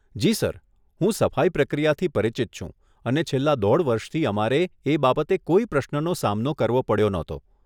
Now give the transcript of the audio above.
જી sir, હું સફાઈ પ્રક્રિયાથી પરિચિત છું અને છેલ્લાં દોઢ વર્ષથી અમારે એ બાબતે કોઈ પ્રશ્નનો સામનો કરવો પડ્યો નહોતો.